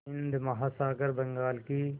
हिंद महासागर बंगाल की